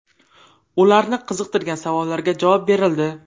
Ularni qiziqtirgan savollarga javob berildi.